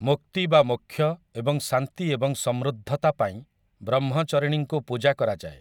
ମୁକ୍ତି ବା ମୋକ୍ଷ ଏବଂ ଶାନ୍ତି ଏବଂ ସମୃଦ୍ଧତା ପାଇଁ ବ୍ରହ୍ମଚରିଣୀଙ୍କୁ ପୂଜା କରାଯାଏ ।